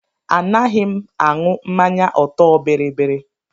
Anaghị m aṅụ mmanya ọtọ biribiri.